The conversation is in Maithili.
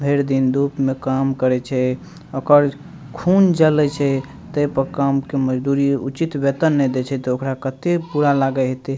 भएर दिन धुप में काम करइ छे ओकर खून जलइ छे तेय पे काम के मजदूरी उचित वेतन नइ दे छे त ओकरा कते बुरा लगईहिते।